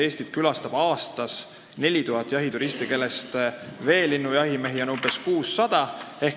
Eestit külastab aastas 4000 jahituristi, veelinnujahimehi on nendest umbes 600.